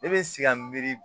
Ne bɛ si ka miiri